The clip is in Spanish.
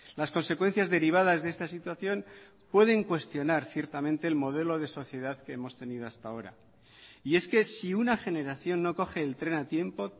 las consecuencias derivadas de esta situación pueden cuestionar ciertamente el modelo de sociedad que hemos tenido hasta ahora y es que si una generación no coge el tren a tiempo